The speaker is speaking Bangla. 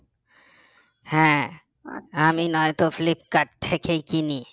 হ্যাঁ আমি নয়তো ফ্লিপকার্ট থেকেই কিনি